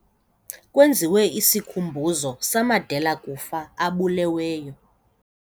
Kwenziwe isikhumbuzo samadela-kufa abuleweyo.